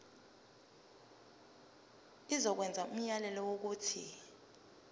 izokwenza umyalelo wokuthi